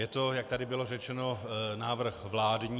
Je to, jak tady bylo řečeno, návrh vládní.